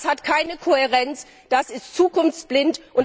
Das hat keine Kohärenz, das ist zukunftsblind.